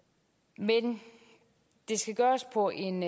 men det skal gøres på en